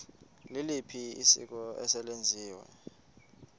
liliphi isiko eselenziwe